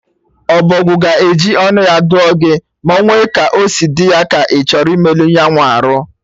Ọbọgwụ ga-eji ọnụ ya dụọ gị ma onwe ka osi dị ya, ka ịchọ imelụ nyanwa arụ